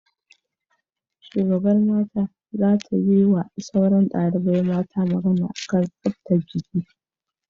Shugaban mata za ta ma sauran dalibai mata magana a kan tsaftan jiki